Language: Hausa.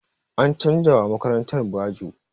An canza wa makarantar bajo.